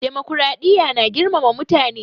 Dimokuraɗiya na girmama mutane